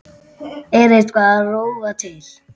Er eitthvað að rofa til?